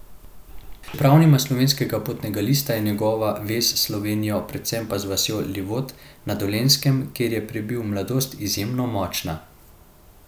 Čeprav nima slovenskega potnega lista, je njegova vez s Slovenijo, predvsem pa z vasjo Livold na dolenjskem, kjer je prebil mladost, izjemno močna.